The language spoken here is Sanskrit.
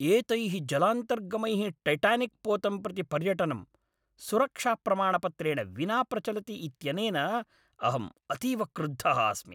एतैः जलान्तर्गमैः टैटानिक् पोतं प्रति पर्यटनं, सुरक्षाप्रमाणपत्रेण विना प्रचलति इत्यनेन अहम् अतीव क्रुद्धः अस्मि।